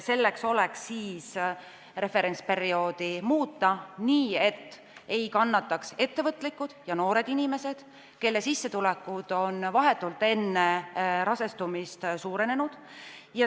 Selleks tuleks referentsperioodi muuta nii, et ei kannataks ettevõtlikud ja noored inimesed, kelle sissetulekud on vahetult enne rasestumist suurenenud.